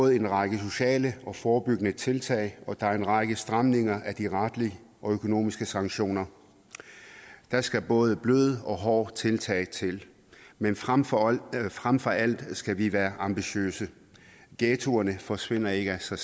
en række sociale og forebyggende tiltag og der er en række stramninger af de retlige og økonomiske sanktioner der skal både bløde og hårde tiltag til men frem for frem for alt skal vi være ambitiøse ghettoerne forsvinder ikke af sig